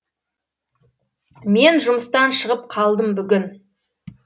мен жұмыстан шығып қалдым бүгін